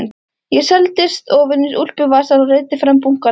Ég seildist ofan í úlpuvasann og reiddi fram bunkann.